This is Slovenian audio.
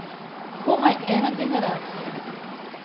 Komaj ena generacija.